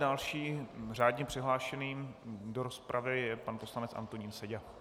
Dalším řádně přihlášeným do rozpravy je pan poslanec Antonín Seďa.